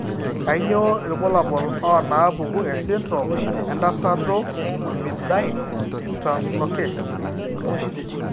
Kainyio irbulabul onaapuku esindirom entasato Ornithine translocase?